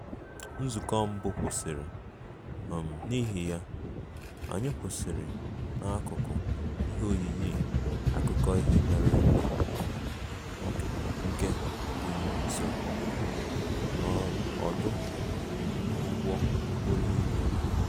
Nzukọ mbụ kwụsịrị, um n'ihi ya, anyị kwụsịrị n'akụkụ ihe oyiyi akụkọ ihe mere eme nke dị nso n'ọdụ ụgbọ okporo ígwè